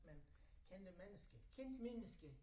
Men kendte mennesker kendte mennesker